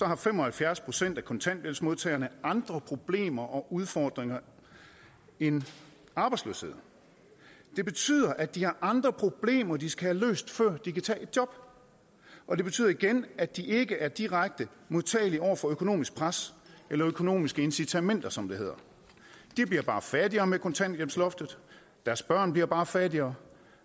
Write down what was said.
har fem og halvfjerds procent af kontanthjælpsmodtagerne andre problemer og udfordringer end arbejdsløshed det betyder at de har andre problemer de skal have løst før de kan tage et job og det betyder igen at de ikke er direkte modtagelige over for økonomisk pres eller økonomiske incitamenter som det hedder de bliver bare fattigere med kontanthjælpsloftet deres børn bliver bare fattigere